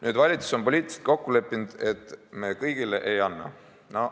Nüüd on valitsus poliitiliselt kokku leppinud, et me kõigile ei anna.